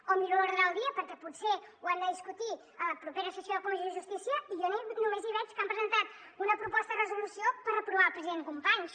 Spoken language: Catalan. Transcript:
o miro l’ordre del dia perquè potser ho hem de discutir a la propera sessió de la comissió de justícia i jo només hi veig que han presentat una proposta de resolució per reprovar el president companys